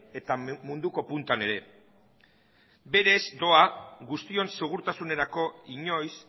eta munduko puntan ere berez doa guztion segurtasunerako inoiz